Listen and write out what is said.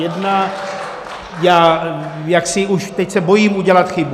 Já jaksi už teď se bojím udělat chybu.